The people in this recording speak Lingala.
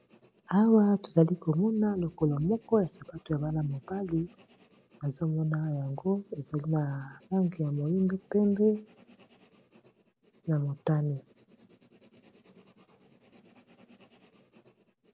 Awa tozali komona lokolo moko ya sapato ya bana-mobali, nazo mona yango ezali na langi ya moyindo, pembe na motane.